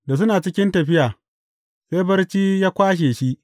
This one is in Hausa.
Da suna cikin tafiya, sai barci ya kwashe shi.